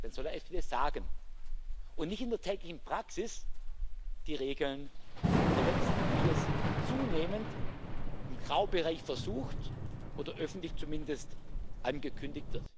dann soll er es hier sagen und nicht in der täglichen Praxis die Regeln verletzen, wie es zunehmend im Graubereich versucht oder zumindest öffentlich angekündigt wird.